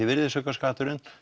virðisaukaskatturinn